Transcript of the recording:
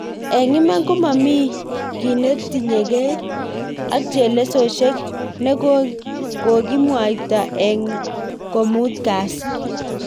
Eng iman komamii ginetinyegei ak chelesosyek ne kogimwoito eng komut kasi